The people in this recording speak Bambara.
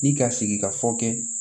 Ni ka sigika fɔ kɛ